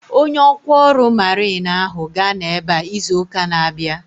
Onye ọkwá ọrụ mariin ahu ga-anọ ebea izu ụka na-abịa